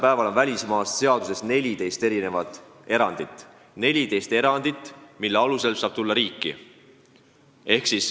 Praegu on välismaalaste seaduses 14 erandit, mille alusel saab Eestisse tulla.